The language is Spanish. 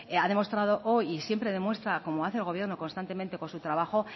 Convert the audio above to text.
ha demostrado hoy y siempre demuestra como hace el gobierno constantemente con su trabajo